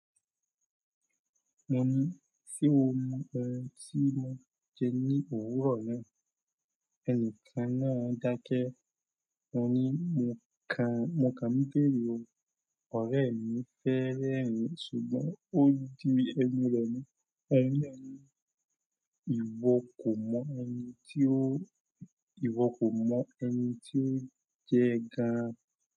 Mo ní, "Ṣé o mọ oun tí mó ń jẹ ní òwúrọ̀ mi?" Ẹni kan náà dákẹ́. Mo ní, "Mo kàn ń béèrè ọ, ọ̀rẹ́ mi fẹ́rẹ́ ẹ," ṣùgbọ́n ó di ẹ̀mí lọ ní, "Ẹni yẹn, ìwo kò mọ ẹni tí ó jẹ gan-an".